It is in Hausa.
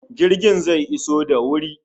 Jirgin zai iso da wuri